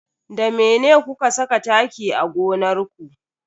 Da mene kuka saka taki a gonar ku?